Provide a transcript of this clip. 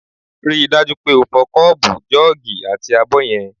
Rí i dájú pé o fọ kọ́ọ̀bù, jọ́ọ̀gì àti abọ́ yẹn!